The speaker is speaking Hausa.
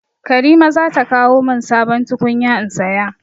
Karima za ta kawo min sabon tukunya in saya.